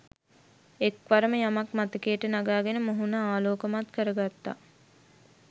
එක්වරම යමක් මතකයට නගාගෙන මුහුන ආලෝකමත් කරගත්තා